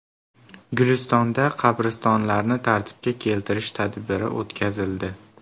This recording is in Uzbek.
Gulistonda qabristonlarni tartibga keltirish tadbiri o‘tkazildi.